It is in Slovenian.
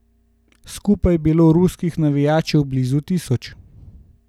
Skupaj je bilo ruskih navijačev blizu tisoč.